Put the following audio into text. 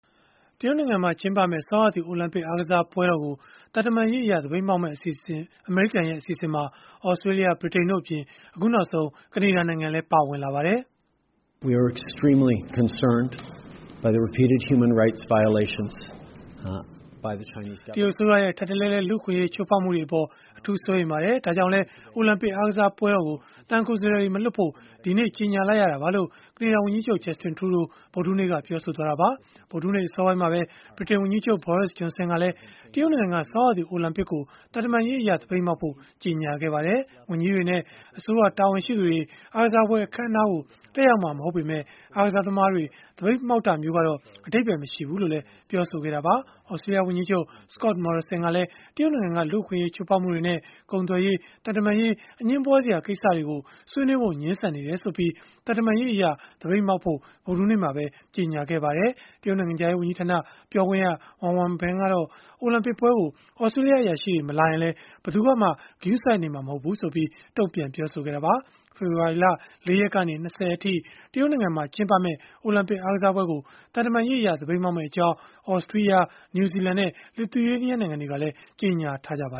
တရုတ်နိုင်ငံမှာ ကျင်းပမယ့် ဆောင်းရာသီ အိုလံပစ်အားကစားပွဲတော်ကို သံတမန်ရေး သပိတ်မှောက်မယ့် အမေရိကန်ရဲ့ အစီအစဉ်မှာ သြစတြေးလျ၊ ဗြိတိန်နိုင်ငံတို့အပြင် အခုနောက်ဆုံး ကနေဒါနိုင်ငံလည်း ပါဝင်လာပါတယ်။ “တရုတ်အစိုးရရဲ့ ထပ်တလဲလဲ လူ့အခွင့်အရေး ချိုးဖောက်မှုတွေအပေါ် အထူးစိုးရိမ်ပါတယ်။ ဒါကြောင့်လည်း အိုလံပစ်အားကစားပွဲတော်ကို သံကိုယ်စားလှယ်တွေ မလွှတ်ဖို့ ဒီကနေ့ ကြေညာလိုက်ရတာပါ။” လို့ ကနေဒါဝန်ကြီးချုပ် Justin Trudeau က ဗုဒ္ဓဟူးနေ့မှာ ပြောဆိုလိုက်တာပါ။ ဗုဒ္ဓဟူးနေ့ အစောပိုင်းမှာပဲ ဗြိတိန်ဝန်ကြီးချုပ် Boris Johnson ကလည်း တရုတ်နိုင်ငံက ဆောင်းရာသီ အိုလံပစ်ကို သံတမန်ရေး သပိတ်မှောက်ဖို့ ကြေညာခဲ့ပါတယ်။ ဝန်ကြီးတွေနဲ့ အစိုးရတာဝန်ရှိသူတွေ အားကစားပွဲ အခမ်းအနားတွေကို တက်ရောက်မှာ မဟုတ်ပေမယ့် အားကစားသမားတွေ သပိတ်မှောက်တာမျိုးကတော့ အဓိပ္ပာယ်မရှိဘူးလို့လည်း ပြောဆိုခဲ့တာပါ။ သြစတြေးလျဝန်ကြီးချုပ် Scott Morrison ကလည်း တရုတ်နိုင်ငံက လူ့အခွင့်အရေး ချိုးဖောက်မှုတွေနဲ့ ကုန်သွယ်ရေး၊ သံတမန်ရေး အငြင်းပွားစရာ ကိစ္စတွေကို ဆွေးနွေးဖို့ ငြင်းဆန်နေတယ်ဆိုပြီး သံတမန်ရေး သပိတ်မှောက်ဖို့ ဗုဒ္ဓဟူးနေ့မှာပဲ ကြေညာခဲ့ပါတယ်။ တရုတ်နိုင်ငံခြားရေး ဝန်ကြီးဌာန ပြောခွင့်ရ Wang Wenbin ကတော့ အိုလံပစ်ပွဲကို သြစတြေးလျ အရာရှိတွေ မလာရင်လည်း ဘယ်သူကမှ ဂရုစိုက်မှာ မဟုတ်ဘူးဆိုပြီး တုံ့ပြန်ခဲ့တာပါ။ ဖေဖော်ဝါရီလ ၄ ရက်ကနေ ၂၀ ရက်နေ့အထိ တရုတ်နိုင်ငံမှာ ကျင်းပမယ့် အိုလံပစ်ပွဲကို သံတမန်ရေးအရ သပိတ်မှောက်မယ့်အကြောင်း သြစတြီးယား၊ နယူးဇီလန်နဲ့ လစ်သူယေးနီးယား နိုင်ငံတွေကလည်း ကြေညာထားကြပါ